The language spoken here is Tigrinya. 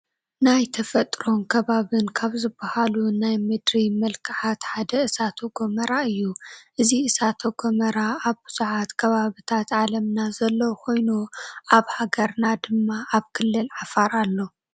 ናይ ተፈጥሮን ከባብን ካብ ዝባሃሉ ናይ ምድሪ መልክኣት ሓደ እሳተ ጎመራ እዩ፡፡ እዚ እሳተ ጎመራ ኣብ ብዙሓት ከባቢታት ዓለምና ዘሎ ኮይኑ ኣብ ሃገርና ድማ ኣብ ክልል ዓፋር ኣሎ፡፡